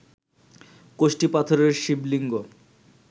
কষ্টি পাথরের শিবলিঙ্গ